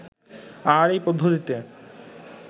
আর এই পদ্ধতিতে